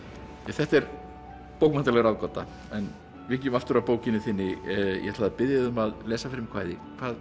þetta er bókmenntaleg ráðgáta en víkjum aftur að bókinni þinni ég ætlaði að biðja þig um að lesa fyrir mig kvæði hvað